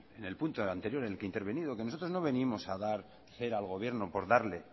en el punto anterior en el que he intervenido que nosotros no venimos a dar cera al gobierno por darle